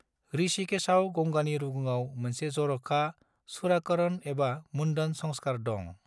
ऋषिकेशआव, गंगानि रुगुङाव, मोनसे जर'खा चूड़ाकरण एबा मुंडन संस्कार दं।